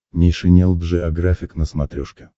нейшенел джеографик на смотрешке